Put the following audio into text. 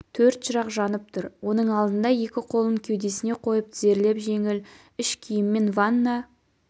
төрт шырақ жанып тұр оның алдында екі қолын кеудесіне қойып тізерлеп жеңіл іш киіммен ванда